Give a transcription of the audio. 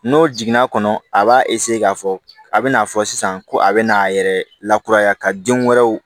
N'o jiginna kɔnɔ a b'a k'a fɔ a bɛna fɔ sisan ko a bɛ n'a yɛrɛ lakuraya ka den wɛrɛw